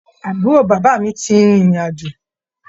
Àbúrò bàbá mi ti rin ìrìn àjò.